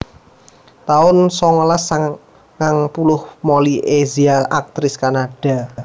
taun songolas sangang puluh Molly Ezia aktris Kanada